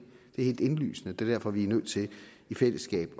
er helt indlysende det er derfor vi er nødt til i fællesskab